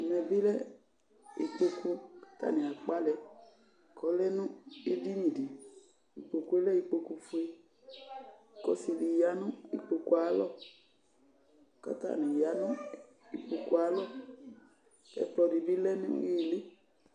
Ɛvɛ bi lɛ ikpoku k'atani akpaa lɛk'ɔlɛnʋ eɖiniɖiIkpokue lɛ ikpoku fueK'ɔsiɖi yaa nʋ ikpokuɛ ayalɔ k'atani yaa nʋ ikpokuɛ aalɔ k'ɛkplɔɖibi lɛ nʋ iili